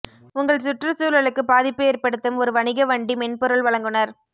உங்கள் சுற்றுச்சூழலுக்கு பாதிப்பு ஏற்படுத்தும் ஒரு வணிக வண்டி மென்பொருள் வழங்குநர்